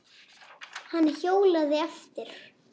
Hann hjólaði eftir